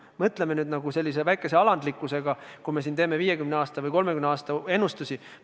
No mõtleme nüüd sellise väikese alandlikkusega, kui teeme siin 50 või 30 aasta peale ennustusi.